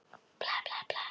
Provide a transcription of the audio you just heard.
Nálgaðist botn sálarinnar.